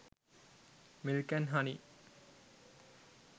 milk and honey